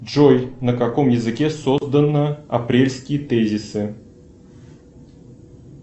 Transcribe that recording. джой на каком языке создано апрельские тезисы